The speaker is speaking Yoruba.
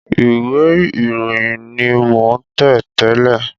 Ìwé ìròyìn ni mo ń tẹ̀ tẹ́lẹ̀